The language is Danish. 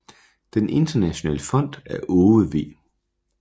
Den internationale fond er Aage V